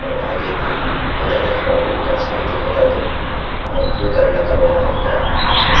aro akae tae mota ekta khara kurikaena ase edu mota toh blue colour laka kapra lakai kaena dikhiase.